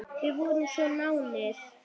Við vorum svo náin.